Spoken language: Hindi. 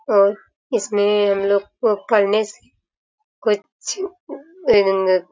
और इस में हम लोग को करने कुछ--